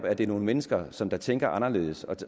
at det er nogle mennesker som tænker anderledes